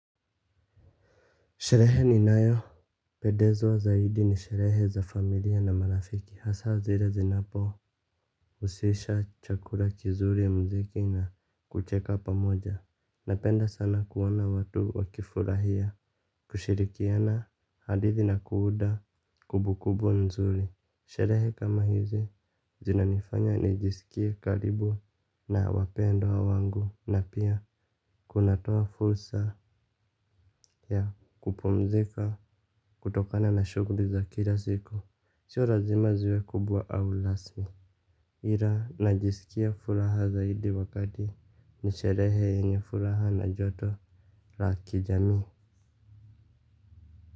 Sherehe ninayopedezwa zaidi ni sherehe za familia na marafiki hasa zire zinapo usisha chakura kizuri ya mziki na kucheka pamoja. Napenda sana kuona watu wakifurahia. Kushirikiana hadithi na kuuda kubukubu nzuri. Sherehe kama hizi zinanifanya nijisikie karibu na wapendwa wangu na pia kunatoa fulsa ya kupumzika kutokana na shugli za kila siku sio razima ziwe kubwa au lasmi. Ira najisikia fulaha zaidi wakati ni sherehe yenye fulaha na joto la kijamii.